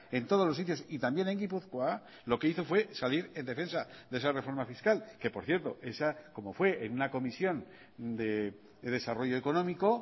en todos los sitios y también en gipuzkoa lo que hizo fue salir en defensa de esa reforma fiscal que por cierto esa como fue en una comisión de desarrollo económico